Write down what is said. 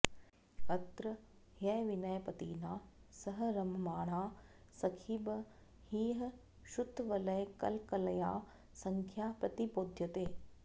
अत्र ह्यविनयपतिना सह रममाणा सखी बहिःश्रुतवलयकलकलया सख्या प्रतिबोध्यते